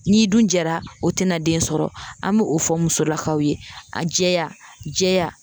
N'i dun jɛra o tina den sɔrɔ, an b'o fɔ musolakaw ye, a jɛya jɛya